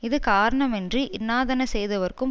இது காரணமின்றி இன்னாதன செய்தவர்க்கும்